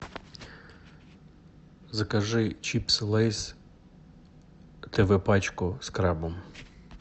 закажи чипсы лейс тв пачку с крабом